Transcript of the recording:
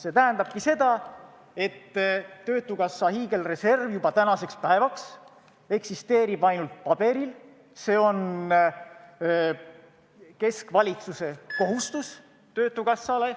See tähendabki seda, et töötukassa hiigelreserv eksisteerib tänaseks päevaks ainult paberil, see on keskvalitsuse kohustus töötukassa ees.